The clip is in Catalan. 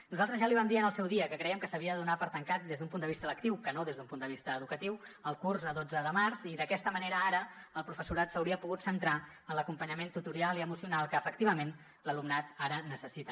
nosaltres ja li vam dir en el seu dia que crèiem que s’havia de donar per tancat des d’un punt de vista lectiu que no des d’un punt de vista educatiu el curs a dotze de març i d’aquesta manera ara el professorat s’hauria pogut centrar en l’acompanyament tutorial i emocional que efectivament l’alumnat ara necessita